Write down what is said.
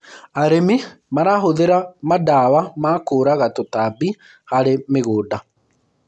arĩmi marahuthira mandawa ma kuraga tũtambi harĩ mĩgũnda